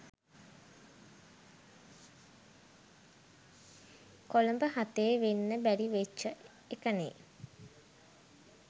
කොළඹ හතේ වෙන්න බැරි වෙච්චි එකනේ